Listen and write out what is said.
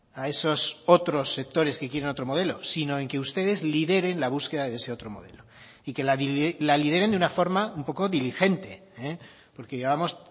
a esos otros sectores que quieren otro modelo sino en que ustedes lideren la búsqueda de ese otro modelo y que la lideren de una forma un poco diligente porque llevamos